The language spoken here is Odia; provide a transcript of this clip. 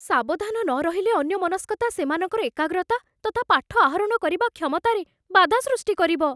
ସାବଧାନ ନ ରହିଲେ, ଅନ୍ୟମନସ୍କତା ସେମାନଙ୍କର ଏକାଗ୍ରତା ତଥା ପାଠ ଆହରଣ କରିବା କ୍ଷମତାରେ ବାଧା ସୃଷ୍ଟି କରିବ।